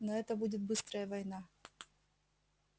но это будет быстрая война